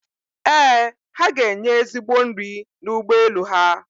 Ee, ha ga-enye ezigbo nri n'ụgbọ elu ha